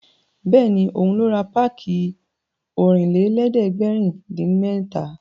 Bẹ́ẹ̀ni, òun ló ra páàkì Ọ̀rìnlélẹ̀ẹ́dẹ́gbèrin-dín-mẹ́ta